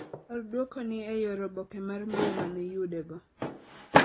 Or duoko ni e yor oboke mar mbui mane iyude go.